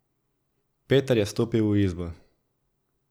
Peter je stopil v izbo.